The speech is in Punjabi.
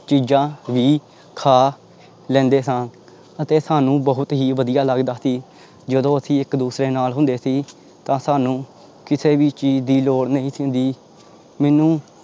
ਚੀਜ਼ਾਂ ਵੀ ਖਾ ਲੈਂਦੇ ਹਾਂ ਅਤੇ ਸਾਨੂੰ ਬਹੁਤ ਹੀ ਵਧੀਆ ਲੱਗਦਾ ਸੀ ਜਦੋਂ ਅਸੀਂ ਇੱਕ ਦੂਸਰੇ ਨਾਲ ਹੁੰਦੇ ਸੀ ਤਾਂ ਸਾਨੂੰ ਕਿਸੇ ਵੀ ਚੀਜ਼ ਦੀ ਲੋੜ ਨਹੀਂ ਸੀ ਹੁੰਦੀ ਮੈਨੂੰ